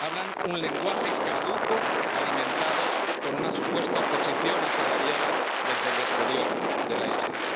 Hablan un lenguaje caduco alimentado por una supuesta oposición asalariada desde el exterior de la isla.